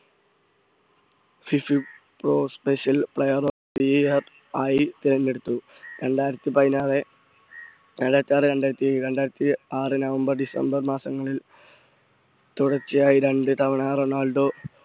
special player of the year ആയി തെരഞ്ഞെടുത്തു. രയിരത്തി പതിനാറ് രണ്ടായിരത്തി ആറ് രണ്ടായിരത്തി രണ്ടായിരത്തി ആറ് November December മാസങ്ങളി തുടർച്ചയായി രണ്ടു തവണ റൊണാൾഡോ